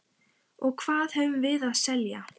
Og hvað höfum við að selja?